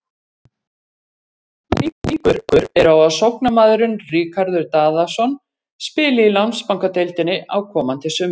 Nokkuð miklar líkur eru á að sóknarmaðurinn Ríkharður Daðason spili í Landsbankadeildinni á komandi sumri.